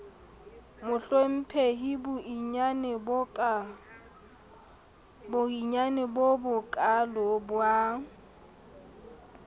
mohlomphehi boiyane bo bokaalo ba